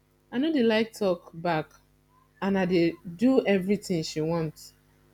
i no dey like talk back and i dey do everything she want